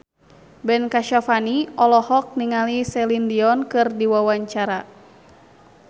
Ben Kasyafani olohok ningali Celine Dion keur diwawancara